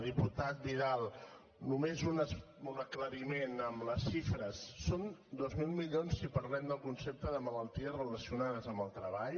diputat vidal només un aclariment amb les xifres són dos mil milions si parlem del concepte de malalties relacionades amb el treball